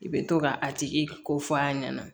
I bɛ to ka a tigi ko f'a ɲɛna